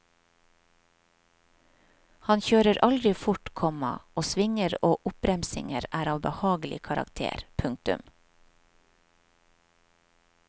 Han kjører aldri fort, komma og svinger og oppbremsinger er av behagelig karakter. punktum